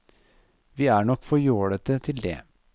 Vi er nok for jålete til det.